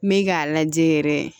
N bɛ k'a lajɛ yɛrɛ